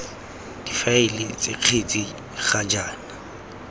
difaele ts kgetse ga jaana